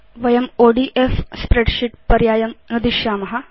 वयं ODF spreadsheet पर्यायं नुदिष्याम